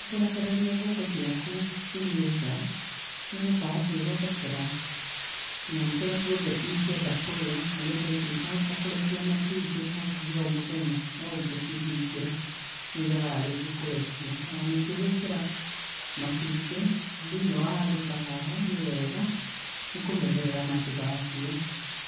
Kũrekereria ngũkũ ciaku, cirĩe nja, nĩihotaga kwĩrogotera, tũnyamũ tũrĩa tuothe ingĩenda kũrĩa, na nĩũndũ ũcio ikahota kũrekia matumbĩ hakuhĩ o mũthenya, no ũngĩcihingĩra, nĩiregaga rĩngĩ kũrekia. O na ningĩ gwĩkĩra, matumbĩ thĩiniĩ wa handũ ta haha, nĩ wega, nĩ kũmenyerera matigakue.